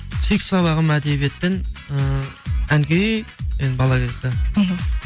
сүйікті сабағым әдебиет пен ы ән күй енді бала кезде мхм